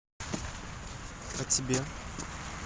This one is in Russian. о тебе